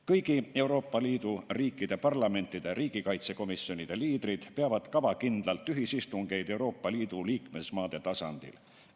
Kõigi Euroopa Liidu riikide parlamentide riigikaitsekomisjonide liidrid peavad kavakindlalt ühisistungeid Euroopa Liidu liikmesmaade tasandil.